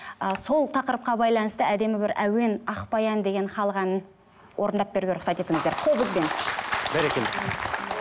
ы сол тақырыпқа байланысты әдемі бір әуен ақ баян деген халық әнін орындап беруге рұқсат етіңіздер қобызбен бәрекелді